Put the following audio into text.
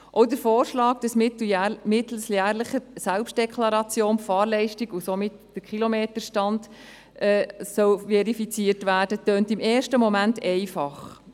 Auch der Vorschlag, dass mittels jährlicher Selbstdeklaration die Fahrleistung und somit der Kilometerstand verifiziert werden soll, klingt im ersten Moment einfach.